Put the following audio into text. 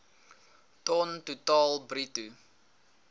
ton totaal bruto